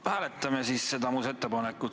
No hääletame siis seda muudatusettepanekut.